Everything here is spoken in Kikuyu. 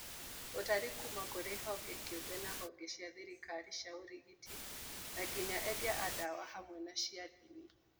Ũtari kuuma kũrĩ honge kĩũmbe na honge cia thirikari, cia ũrigiti, na nginya endia a dawa hamwe na cia ndini